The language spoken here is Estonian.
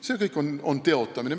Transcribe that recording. See kõik on teotamine.